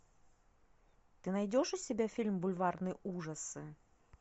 ты найдешь у себя фильм бульварные ужасы